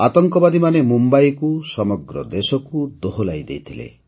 ଆତଙ୍କବାଦୀମାନେ ମୁମ୍ବାଇକୁ ସମଗ୍ର ଦେଶକୁ ଦୋହଲାଇ ଦେଇଥିଲେ